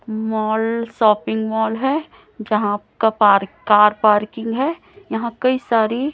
mall shopping mall है जहां कपार कार पार्किंग है यहाँ कई सारी--